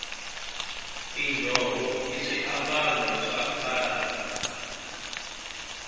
tinjhovo i swiambalo swa khale